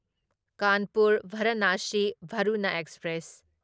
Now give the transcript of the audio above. Kanpur Varanasi Varuna express